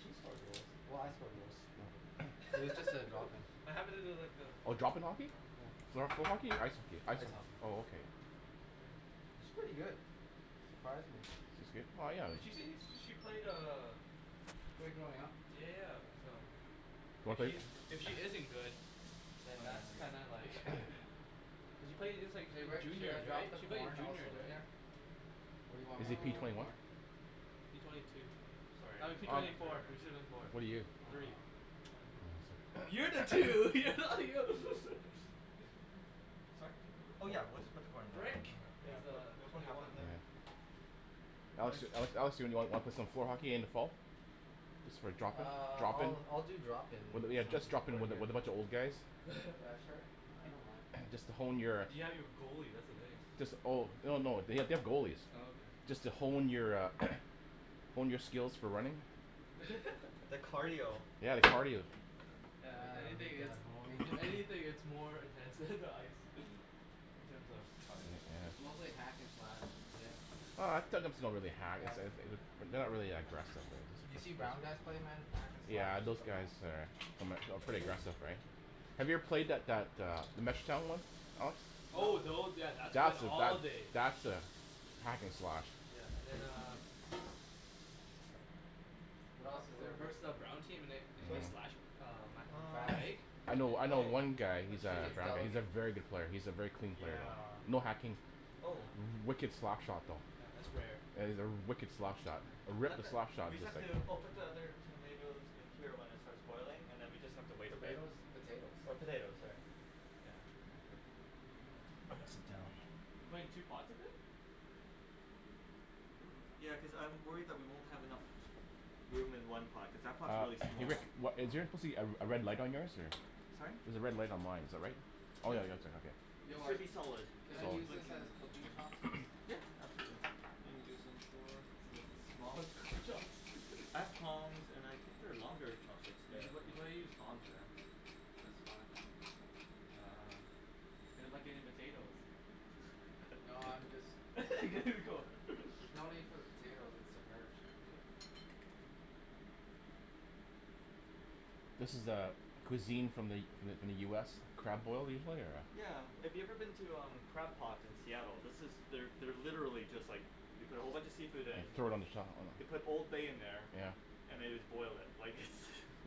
She scored goals, well I score goals too but it was just a drop in. What happen to like the Oh drop in hockey? Yeah floor- floor hockey? I- ice hockey ice ice hockey? hockey oh okay She's pretty good, surprised me. She's good well yeah She seems when she played uh Played growing up Yeah so if she if she isn't good Oh then yeah that's then kinda like cuz she played Hey since Rick? Should I juniors drop right? the She played in corn juniors also right? in there? What do you want Is me he to p do with Um the twenty one? corn? P twenty two sorry I I'm mean just P gonna twenty four, after P twenty four What are you? Three um Oh that's right You're the two, you're not Sorry? Oh yeah we'll just put the corn in there Rick yeah is pu- uh Okay we'll put twenty half of one. them in there. Yeah Alex- Alex do wanna pl- play some floor hockey at the end of fall? Just for drop in, Ah drop in? I'll- I'll do drop in Yeah just drop in with a, with a bunch of old guys? Yeah sure I don't mind Just to hone your, But you have your goalie that's the thing. jus- oh, oh no they- they have Oh goalies. okay Just to hone your a, hone your skills for running. The cardio Yeah if Yeah I anything need it's, that honing. if anything it's more intense than the ice, in terms of cardio. It's mostly hack and slash. Yeah Oh it's not really hack. Yeah It's a- wh- but they're not really that aggressive. you seen brown guys play man hack and slash Yeah to those the guys max. are, are pretty aggressive right? Have you ever played that, that a Oh those, yeah that's That's a, days that's a hack and slash. Yeah and then uh What else is there we Rick? versed that brown team and they slashed Mhm uh my Um I'm fast leg I know, I know oh one guy You who's let's a, should see just he's a delegate. very good player, he's a very clean Mm player, yeah? yeah no hacking, oh wicked slap shot though, Yeah that's rare yeah yeah he's a wicked slap shot, a We have wicked to slap shot we just have sayin. to oh put the other hm tomatoes in until it starts boiling then we just have to wait a bit. Tomatoes? Potatoes Or potatoes sorry you know All good Oh I'm gonna sit down. we're putting two pots of it? Ya cuz I'm worried that we won't have enough room in one pot cuz that pots Uh really small. Rick, wha- is there supposed to be a- a red light on yours or? Sorry? There's a red light on mine is that right? Oh yeah Yep you have it too It okay. should Rick be solid. can I Solid use this as cooking chopsticks? Yeah Yeah absolutely Those are like the smallest cooking I have tongs and I think there are longer chopsticks there if You you gotta- you want. gotta use tongs man. That's fine. Uh, they're like potatoes No I'm just mixing it There ya before. go There's no need for the potatoes, it's submerged. This is a- cuisine from the- from the U S crab boil usually or Yeah if you a? have ever been to Crab Pot in Seattle this is, they're literally just like, they put a whole bunch of seafood in, And throw it on the top they put oh old bay in there yeah and they just boil it, like its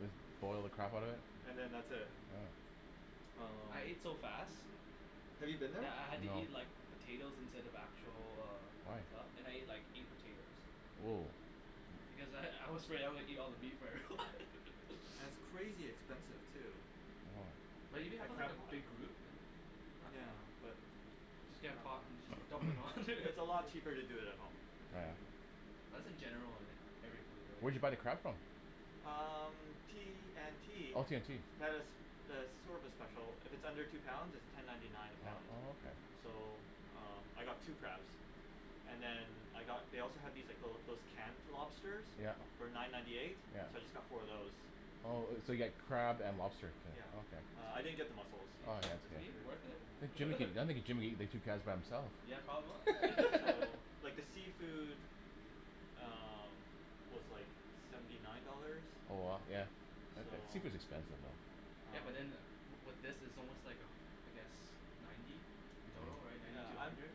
Just boil the crap out of it? and then that's it yeah Oh um. I ate so fast, Have you been there? that I had to eat No like potatoes instead of actual uh stuff and I Why? ate like eight potatoes Whoa because I- I was afraid I was gonna eat all the meat before everyone. And it's crazy expensive too But when Oh you a- know I at never had, Crab a Pot. big group, uh not Yeah bad. but Just I get a dunno pot and just dump it all in there. It's a lot cheaper to do it at home. Oh yeah That's in general on every food Where'd right? you buy the crab from? Um T&T Oh T&T they have a have a service special, if it's under two pounds it's ten ninety nine a Oh- pound. oh okay Hm So um I got two crabs and then I got they also had these like little those canned lobsters Yep yep for nine ninety eight so I just got four of those. Oh- oh so you got crab and lobster Yep Uh I okay. didn't get the Is muscles. Oh yeah that's he, is okay. he worth it? I think Jim, I think Jim coulda ate the two crabs by himself. Yeah probably So like the seafood um was like seventy nine dollars. Oh wow, yeah So seafood's expensive man. Yeah um but in with this, is almost like a I guess ninety dough right Oh ninety Yeah to a I'm hundred?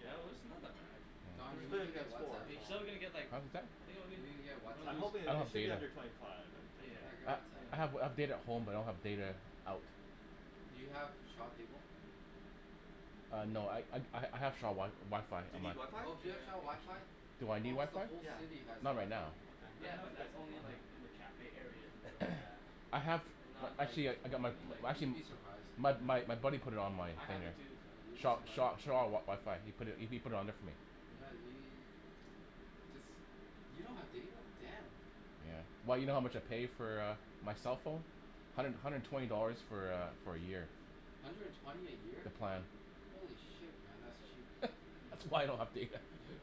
yeah Although it's not that bad. It's But Don, you a good Oh thing need to I get got four Whatsapp. you so Huh still didn't get like, what was that? I think only You need to get I I'm Whatsapp. hoping don't i- it have should be data. under twenty five I'm thinking. Yeah get I- Yeah Whatsapp I have yeah data at home but I don't have data out. Do you have Shaw cable? Ah no I ha- I have Sha- Shaw WiFi Do you on need there. WiFi? Oh do you have Shaw WiFi? Yeah Do I need Almost the WiFi? whole Yeah city has Not right WiFi. now. okay let Yeah me know if but you guys that's need only in WiFi. like the cafe areas and stuff like that I have, and not like actually I- I got my in like You'd actually be surprised. my my buddy put it on my I have it there too Yeah you'd , be so Shaw- surprised. Shaw WiFi ,he pu- put it on there for me. Yeah we- jus- you don't have data? Damn. Yeah well you know how much I pay for a my cell phone? hundred- hundred and twenty dollars for a for a year. Hundred and twenty a year? The plan Holy shit man that's cheap. That's why I don't have data.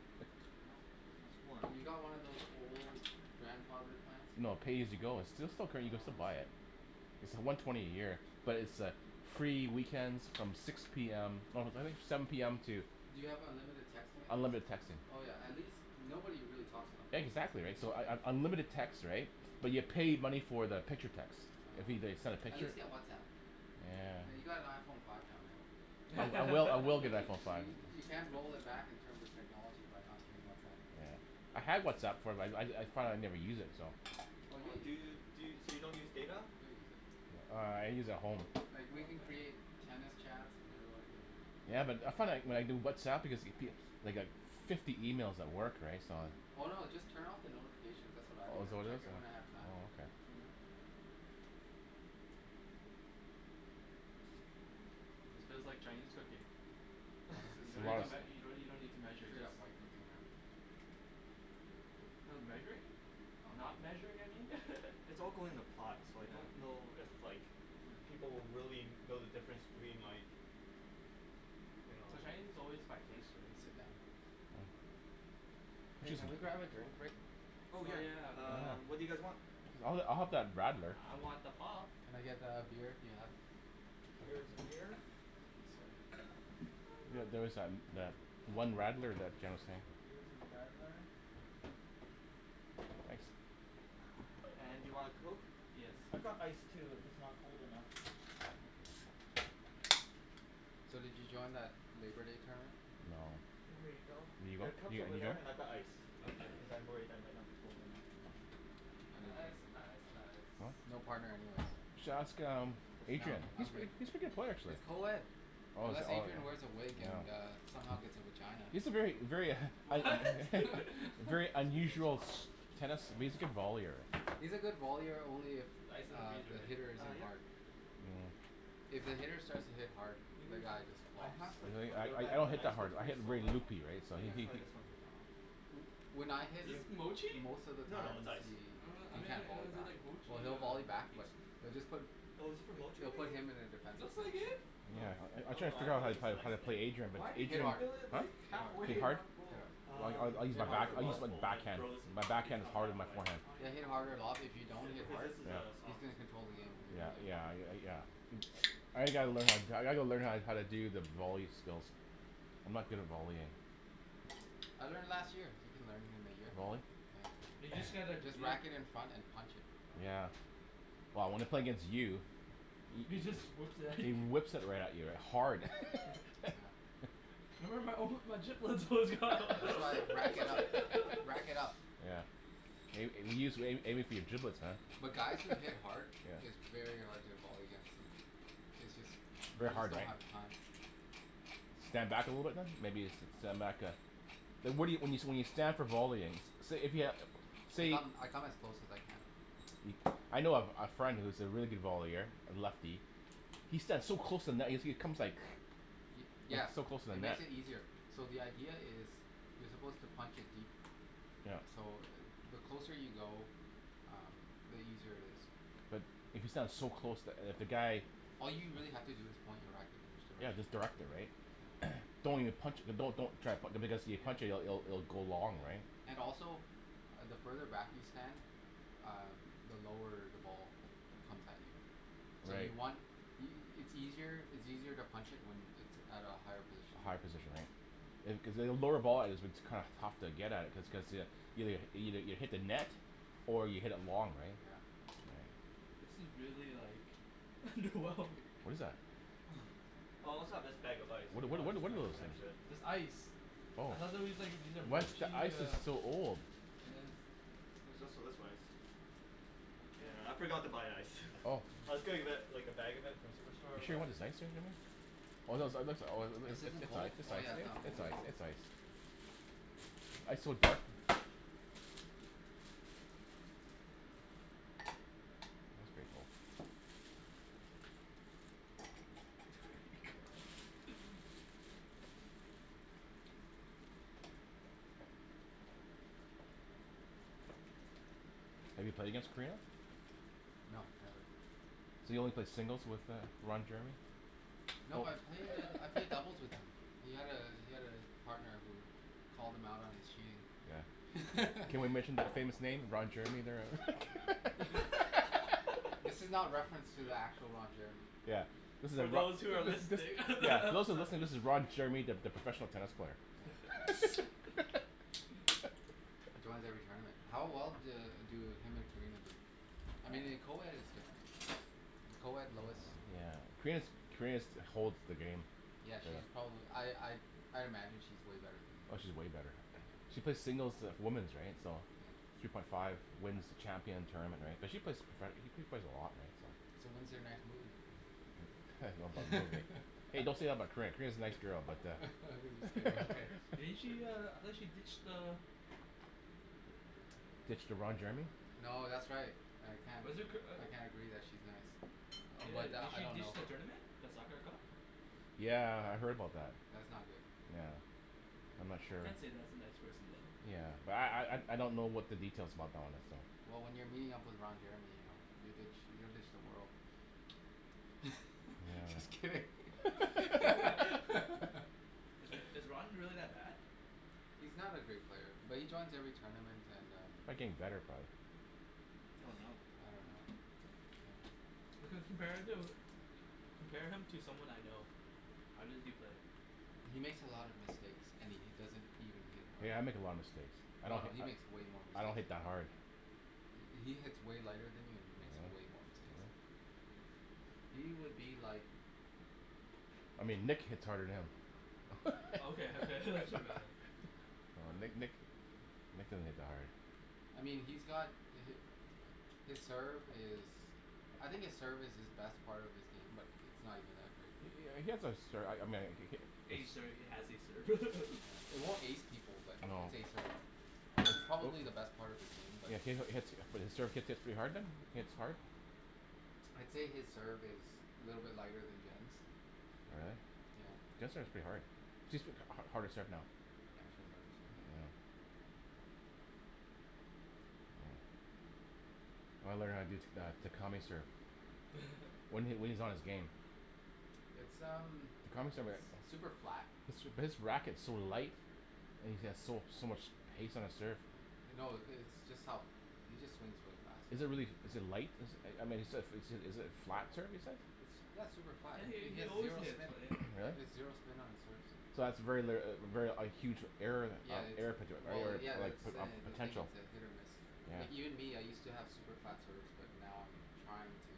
No- no Have swearing you got one of those old grandfather plans? No pay as you go it's still- still Oh buy it. I see It's the one twenty a year but it's a free weekends from six p m no I think seven p m to Do you have unlimited texting at least? Unlimited texting Oh yeah at least- nobody really talks on the phone these Exactly days. right so un- unlimited text right, but you pay money for the picture text, Oh if they okay send a At picture. least get Whatsapp. I mean you Yeah got an Iphone five now man. I will I will get an Iphone five. You- you can't roll it back in terms of technology by not getting Whatsapp. Yeah I had Whatsapp before, I- I thought I'd never use it so. Oh you'll Do use it, you, so you don't use data? you'll use it. Uh I use at home. Like we can Okay create tennis chats and everyone who Ya but I, I found when I do Whatsapp I get like fifty emails at work right so I Oh no just turn off the notifications that's what I do Oh is that and what it check is? in when I have time. oh okay. This feels like Chinese cooking No, this is you don't need straight to- up, you don't need to you don't need to measure straight just up white cooking man. Oh measuring? Oh no not measuring I mean yeah mm It's all going in a pot so I don't know if like people will really know the difference between like you know? Well Chinese is always by pace right? Hey can we grab a drink Rick? Oh Oh yeah yeah um what do you guys um Oh want? I'll have I'll have that radler. I want the pop. Can I get a beer if you have? Here is a beer. Here is a radler. Thank you sir Yeah there was tha- that one radler that Jim seen. Here is a radler. Thanks And do you want a coke? Yes I've got ice please too if it's not cold enough. So did you join that labour day tournament? No Here you you- go. There are you cups are over there and I've got ice if Okay cuz I'm worried that might not be cold enough. I didn't ice, ice, ice no, no What? partner anyways. You should ask um No Adrian. I'm good He's a pretty good player actually. it's coed, Oh is- unless oh Adrian wears a wig and yeah. a somehow gets a vagina. He's a very, very What? K, very there's your unusual pop. tennis vollier. He's a good vollier only if Ice is in the uh freezer the right? hitter Ah isn't yep hard. Hmm If the hitter starts to hit hard, the guy just I flops. have like a Really? I- little I- I bag of don't an hit ice that but hard, it's I really hit solid very loopy right so so I'm he- gonna he- try he this one for now. When I hit Is this Motchi? most of the No no times it's ice he I don- um then can't why volley does it say back like or Motchi here he'll on volley back it but they'll just put Oh is this for Motchie they'll do you think? put him in a defense Looks like position. it. Oh, Yeah I- I'm oh trying no fig- I figure thought how- it was just an how ice to pl- thing. play Adrian but Why did Hit Adrian you What? hard, fill it like hit half way hard, hit hit and hard? hard, not full? I- I Um use, hit I think harder it I was use my full and I backhand, froze it my to the better backhand is become harder than half my way. forehand. Then hit harder a lot, but if you don't Cu- hit cuz hard this is a he's soft going to Yeah control the game. on the Yeah Oh bottom. yeah yeah I g- gotta learn, I gotta learn how to- how to do the volley skills. I'm not good at volleying. I learned last year. You can learn in a year. Volley? Yeah You just get like just you whack it in front and punch it. Yeah well when I play against you, He just whips it at he you. whips it right at you hard. Yeah That's why I rack it up, rack it up. Yeah may- maybe he's aiming for your giblets man. But guys that hit Yeah hard, it's very hard to volley against them it;s jus- They're you just hard don't right? have the time. Stand back a little bit then? Maybe stand back yeah Well, what- what you, when you, when you stand for volleying say if you, I say come, I come as close as I can. I know a friend, who's a really good vollier, a lefty. He stands so close to the net he comes like, he's Yeah so close to the it net. makes it easier. So the idea is, you're supposed to punch it deep. Yep So the closer you go, um the easier it is. But, if you stand so close to- if the guy All you really have to do is point your racket and just Yeah direct it. just direct it right? yeah Don't even punch it, don't- don't even try be- cuz if you Yeah punch it- it'll go long right? And also, the further back you stand, um the lower the ball comes at you. So Right you want y- y- it's easier to punch it at a higher position. A higher position right cuz a lower volley is what's kinda tough to get at it just cu- cuz you- you hit the net or you hit it long right? Yeah Right This is really like wrong like What is that? Oh I also have this bag of ice if Whata- you whata- wanna just what try are and those smash things? it. This ice Oh, ice is so old. There's also this ice, yeah I forgot to buy ice, I was gonna li- like a bag of it from superstore She but wants ice cream in it? This isn't cold? Oh yeah not cold yet Have you played against Korina? No So you only played singles with uh Roger? No I've played I've played doubles with him, he had a he had a partner who called him out on his cheating. Can we mention the famous name Ron Jeremy there. This is not reference to the actual Ron Jeremy Yeah, this is a So yeah, those who are listening those that are listening this is Ron Jeremy the professional tennis player. He joins every tournament. How well do do him and Karina do? I mean in co-ed it's different. In co-ed low is Karina's Karina's holds the game Yeah she's probably I I I imagine she's way better than him. Oh she's way better. She plays singles of women's right, so, three point five wins the champion tournament right, she play profe, she plays a lot So when's their next movie? hey don't say that in my crib, Karina's a nice girl but uh Didn't she uh, I thought she ditched uh Ditch to Ron Jeremy No that's right I Was it Kir- uh I can't agree that she's nice, Yeah, but did I she don't know ditched the her. tournament, the cup? Yeah. Yeah, I heard about that. That's not good. Yeah, I'm not I sure. can't say that's a nice person than. Yeah, but I I don't know what the details about that one is, so Well when you're meeting up with Ron Jeremy, you ditch, you you'll ditch the world just Yeah. kidding Is is Ron really that bad? He's not a great player but he joins every tournament and um Looking better though Oh no. I don't know. compare him compare him to someone I know, how did he play? He makes a lot of mistakes and he doesn't even hit hard Yeah, I make a lot of mistakes, I don't No he hit makes way more I don't mistakes hit than that you hard He he hits way lighter than you and he makes way more mistakes. He would be like I mean Nick hits hard than him Okay okay Uh Nick Nick, Nick doesn't hit that hard I mean he's got the hit His serve is I think his serve is his best part of his game but it's not even that good I mean he has a serve, I mean he hit Ace serve he has a serve It won't ace people but No it it's probably the best part of his game but He he hits, his serve gets to be hard then, he hits hard? I'd say his serve is a little bit lighter than Jen's. All right. Yeah. Jen's serve is pretty hard, she's uh harder serve now. Yeah she has a harder serve now. I learn how to do Takami's serve, when he when he's on his game It's um s- super super flat, flat his his racket is so light and he has so so much hast on his serve No the it's just how, he just swings really fast Is it really, is it light? Is I mean is it is it a flat term you said? Yeah it's super flat Yeah and he he he he has always zero hits spin, he really? has zero spin on his serves So that's very litera- very a huge error in that, Yeah it's error potent, well yeah err that's the poten- the thing potential it's a hit or miss Like even Yeah me I used to have super flat serves but now I'm trying to